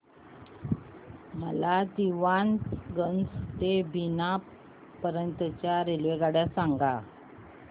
मला दीवाणगंज ते बिना पर्यंत च्या रेल्वेगाड्या सांगा